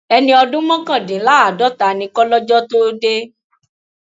ẹni ọdún mọkàndínláàádọta ni kọlọjọ tóo dé